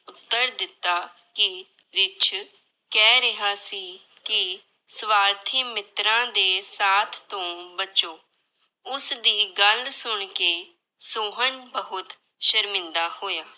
ਉੱਤਰ ਦਿੱਤਾ ਕਿ ਰਿੱਛ ਕਹਿ ਰਿਹਾ ਸੀ ਕਿ ਸਵਾਰਥੀ ਮਿੱਤਰਾਂ ਦੇ ਸਾਥ ਤੋਂ ਬਚੋ, ਉਸਦੀ ਗੱਲ ਸੁਣਕੇ ਸੋਹਨ ਬਹੁਤ ਸ਼ਰਮਿੰਦਾ ਹੋਇਆ।